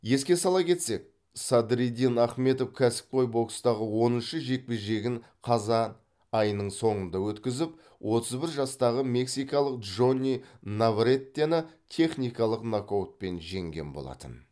еске сала кетсек садриддин ахмедов кәсіпқой бокстағы оныншы жекпе жегін қазан айының соңында өткізіп отыз бір жастағы мексикалық джонни наврретені техникалық нокаутпен жеңген болатын